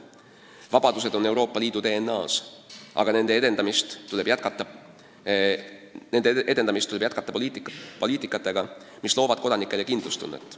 Vabadused on Euroopa Liidu DNA-s, aga nende edendamist tuleb jätkata poliitikasuundadega, mis loovad kodanikele kindlustunnet.